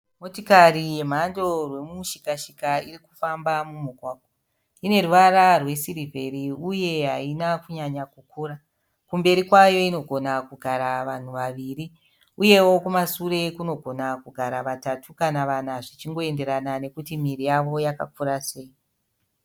Motikari yemhando rwemushikashika irikufamba mumugwagwa. Ine ruvara rwe siriveri uye haina kunyanya kukura. Kumberi kwayo inogona kugara vanhu vaviri uyewo kumashure kunogona kugara vatatu kana vana zvichingoenderena nekuti miviri yavo yakakura sei.